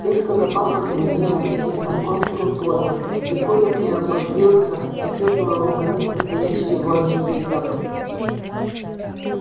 резко запахло бензином сеном конским потом и коля приободрился почувствовав наконец настоящие воинские запахи